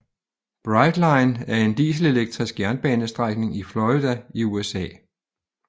Brightline er en dieselelektrisk jernbanestrækning i Florida i USA